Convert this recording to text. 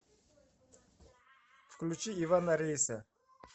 включи ивана рейса